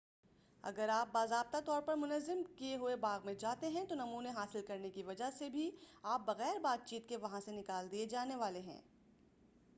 اگر آپ باضابطہ طور پر منظم کیے ہوئے باغ میں جاتے ہیں تو نمونے حاصل کرنے کی وجہ سے بھی آپ بغیر بات چیت کے وہاں سے نکال دیے جانے والے ہیں